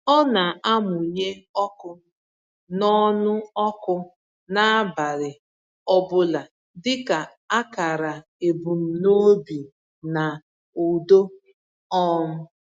Ọ na-amụnye ọkụ n’ọnụ ọkụ n’abalị ọ bụla dịka akara ebumnobi na udo. um